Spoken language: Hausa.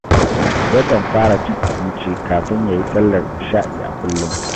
Yakan fara cin abinci kafin ya yi sallar Isha’i a kullum